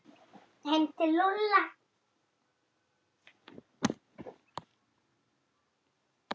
Heim til Lúlla!